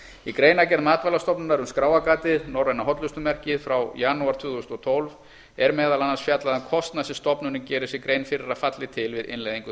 í greinargerð matvælastofnunar um skráargatið norræna hollustumerkið frá janúar tvö þúsund og tólf er meðal annars fjallað um kostnað sem stofnunin gerir sér grein fyrir að falli til við innleiðingu